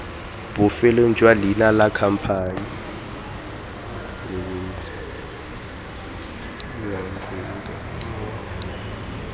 bofelong jwa leina la khamphane